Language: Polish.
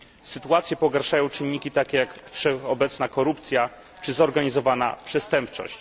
Sytuację pogarszają takie czynniki, jak wszechobecna korupcja czy zorganizowana przestępczość.